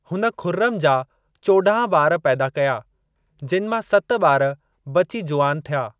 हुन खुर्रम जा चोॾांह ॿार पैदा कया, जिन मां सत ॿार बची जुवान थिया।